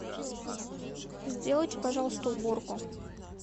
сделайте пожалуйста уборку